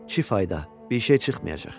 Ki fayda, bir şey çıxmayacaq.